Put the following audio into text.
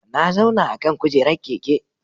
Na zauna akan kujerar keke.